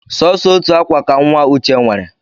Sọsọ otu akwa ka nwa Uche nwere